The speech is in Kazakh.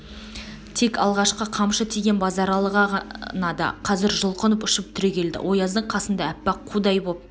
тек алғашқы қамшы тиген базаралы ғана да қазір жұлқынып ұшып түрегелді ояздың қасында аппақ қудай боп